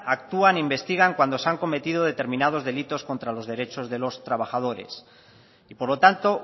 actúan e investigan cuando se han cometido determinados delitos contra los derechos de los trabajadores y por lo tanto